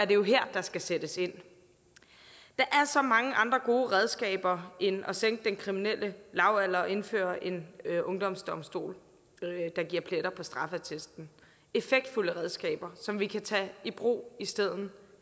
jo her der skal sættes ind der er så mange andre gode redskaber end at sænke den kriminelle lavalder og indføre en ungdomsdomstol der giver pletter på straffeattesten effektfulde redskaber som vi kan tage i brug i stedet